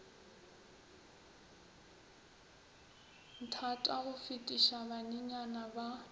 nthata go fetiša banenyana ba